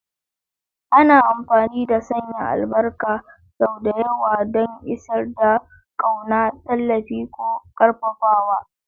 Ana amfani da sanya albarka sau da yawa don isar da ƙauna, tallafi, ko ƙarfafawa.